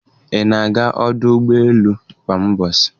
Ị na-aga ọdụ ụgbọ elu kwa ụbọchị?